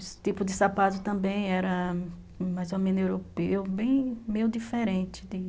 Esse tipo de sapato também era mais ou menos europeu, bem, bem diferente.